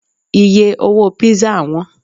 iye owó pizza wón